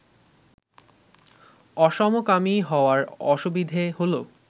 অসমকামী হওয়ার অসুবিধে হল